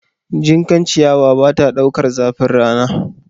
Jinkan ciyawa bata ɗaukar zafin rana